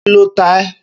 Kí ló ta ẹ?